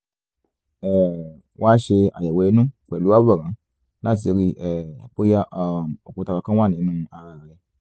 um wá ṣe àyẹ̀wò inú pẹ̀lú àwòrán láti ríi um bóyá um òkúta kankan wà nínú ara rẹ